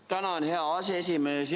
Tänan, hea aseesimees!